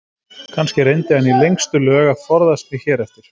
Kannski reyndi hann í lengstu lög að forðast mig hér eftir.